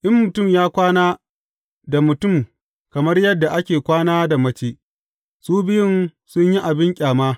In mutum ya kwana da mutum kamar yadda ake kwana da mace, su biyun sun yi abin ƙyama.